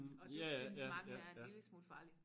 Og det synes mange er en lille smule farligt